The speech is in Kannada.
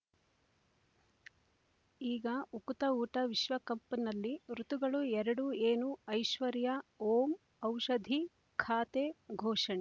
ಈಗ ಉಕುತ ಊಟ ವಿಶ್ವಕಪ್‌ನಲ್ಲಿ ಋತುಗಳು ಎರಡು ಏನು ಐಶ್ವರ್ಯಾ ಓಂ ಔಷಧಿ ಖಾತೆ ಘೋಷಣೆ